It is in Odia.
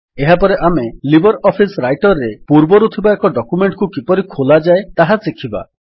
ଏହାପରେ ଆମେ ଲିବର୍ ଅଫିସ୍ ରାଇଟର୍ ରେ ପୂର୍ବରୁ ଥିବା ଏକ ଡକ୍ୟୁମେଣ୍ଟ୍ କୁ କିପରି ଖୋଲାଯାଏ ତାହା ଶିଖିବା